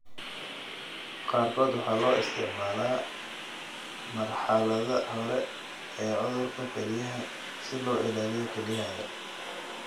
Qaarkood waxaa loo isticmaalaa marxaladaha hore ee cudurka kelyaha si loo ilaaliyo kelyahaaga.